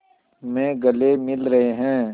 में गले मिल रहे हैं